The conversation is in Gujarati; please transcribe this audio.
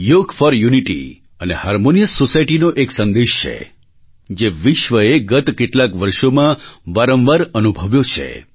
યોગ ફોર યુનિટી અને હાર્મોનિયસ સોસાયટી નો એક સંદેશ છે જે વિશ્વએ ગત કેટલાંક વર્ષોમાં વારંવાર અનુભવ્યો છે